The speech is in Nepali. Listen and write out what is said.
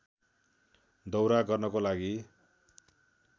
दौरा गर्नको लागि